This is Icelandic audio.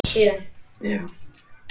Það verður veisla fyrir augað.